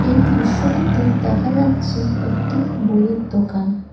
এই দৃশ্যটিতে দেখা যাচ্ছে একটি বইয়ের দোকান।